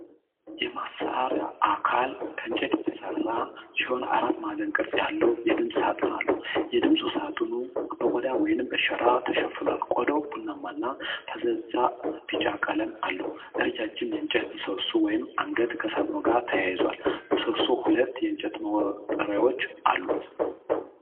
የመሣሪያው አካል ከእንጨት የተሰራ ሲሆን አራት ማዕዘን ቅርጽ ያለው የድምፅ ሳጥን አለው። የድምፅ ሳጥኑ በቆዳ ወይም በሸራ ተሸፍኗል፤ ቆዳው ቡናማና ፈዛዛ ቢጫ ቀለም አለው። ረዣዥም የእንጨት ምሰሶ (አንገት) ከሳጥኑ ጋር ተያይዟል፤ ምሰሶው ሁለት የእንጨት መውጠሪያዎችአሉት።